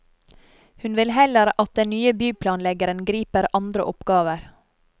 Hun vil heller at den nye byplanleggeren griper andre oppgaver.